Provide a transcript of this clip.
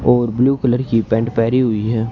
और blue colour की pant पेहनी हुई है।